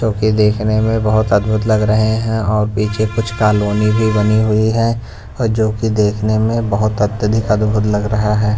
जो कि देखने में बहुत अद्भुत लग रहे हैं और पीछे कुछ कॉलोनी भी बनी हुई है और जो कि देखने में बहुत अत्यधिक अद्भुत लग रहा है।